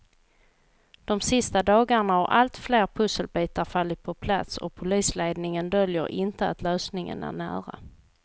De sista dagarna har allt fler pusselbitar fallit på plats och polisledningen döljer inte att lösningen är nära.